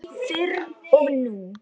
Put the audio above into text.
Fyrr og nú.